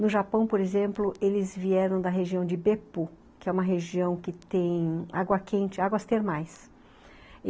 No Japão, por exemplo, eles vieram da região de Beppu, que é uma região que tem água quente, águas termais.